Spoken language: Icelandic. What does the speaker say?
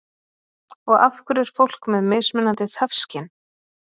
og af hverju er fólk með mismunandi þefskyn